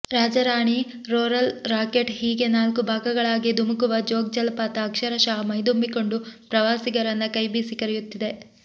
Raja Rani roarer rocket ಹೀಗೆ ನಾಲ್ಕು ಭಾಗಗಳಾಗಿ ಧುಮುಕುವ ಜೋಗ್ ಜಲಪಾತ ಅಕ್ಷರಶಃ ಮೈದುಂಬಿಕೊಂಡು ಪ್ರವಾಸಿಗರನ್ನ ಕೈಬೀಸಿ ಕರೆಯುತ್ತಿದೆ